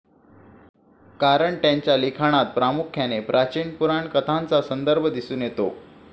कारण त्यांच्या लिखाणात प्रामुख्याने प्राचीन पुराण कथांचा संदर्भ दिसून येतो.